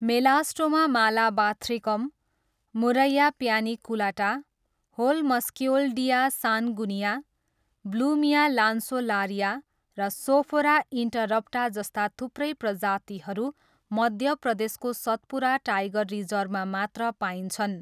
Melastoma malabathricum, Murraya paniculata, Holmskioldia sanguinea, Blumea lanceolaria र Sophora interrupta जस्ता थुप्रै प्रजातिहरू मध्य प्रदेशको सतपुरा टाइगर रिजर्भमा मात्र पाइन्छन्।